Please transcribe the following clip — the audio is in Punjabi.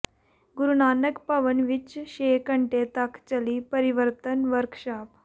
ਗੁਰੂਨਾਨਕ ਭਵਨ ਵਿੱਚ ਛੇ ਘੰਟੇ ਤੱਕ ਚੱਲੀ ਪਰਿਵਰਤਨ ਵਰਕਸ਼ਾਪ